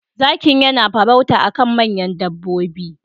Zakin yana farauta akan manyan dabbobi.